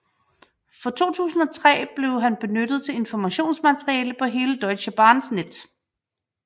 Fra 2003 blev han benyttet til informationsmateriale på hele Deutsche Bahns net